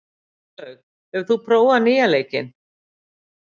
Jórlaug, hefur þú prófað nýja leikinn?